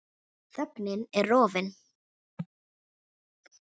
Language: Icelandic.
Þögnin er rofin.